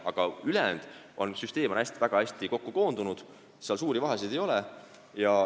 Aga ülejäänud süsteem on väga hästi kokku koondunud, seal suurt vahet ei ole.